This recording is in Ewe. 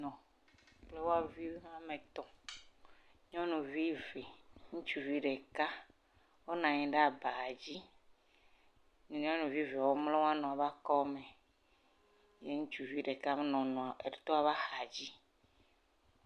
…Nyɔnui eve ŋutsuvi ɖeka, wonɔ anyi ɖe aba dzi, nyɔuvi eve wo mlɔ wo nɔ be akɔme ye ŋutsuvi ɖeka be nɔ nɔ etɔa ƒe axa dzi.